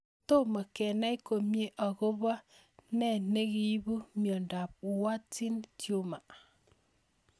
Tomo kenai komie akopo nee nekipu miondop Warthin Tumor